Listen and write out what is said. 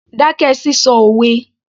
Dákẹ́ sísọ òwe